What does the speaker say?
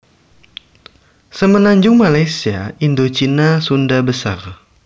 Semenanjung Malaysia Indocina Sunda besar